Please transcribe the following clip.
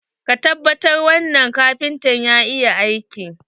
Ka tabbata wanna kafinta ya iya aiki?